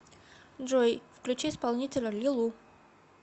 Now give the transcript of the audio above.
джой включи исполнителя лилу